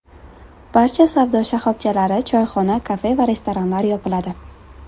Barcha savdo shoxobchalari, choyxona, kafe va restoranlar yopiladi.